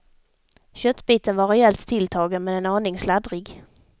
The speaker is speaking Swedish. Köttbiten var rejält tilltagen men en aning sladdrig.